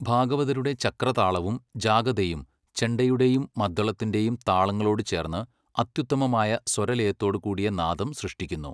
ഭാഗവതരുടെ ചക്രതാളവും ജാഗതെയും, ചെണ്ടയുടെയും മദ്ദളത്തിൻ്റെയും താളങ്ങളോട് ചേർന്ന്, അത്യുത്തമമായ സ്വരലയത്തോടുകൂടിയ നാദം സൃഷ്ടിക്കുന്നു